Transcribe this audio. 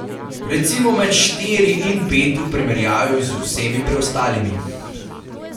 Recimo med štiri in pet v primerjavi z vsemi preostalimi.